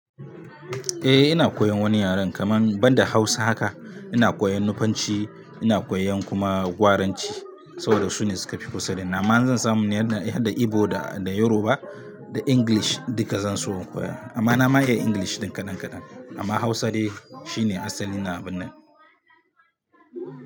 Eh ina koyan wani yaran kaman banda Hausa haka, ina koyan Nufanci, ina koyan kuma Gwaranci, saboda su ne su ka fi kusa da ni. Amma in zan samu ni har da Igbo da Yaroba da English duka zan so in koya. Amma na ma iya English ɗin kaɗan-kaɗan amma Hausa de, shi ne asalin abin nan.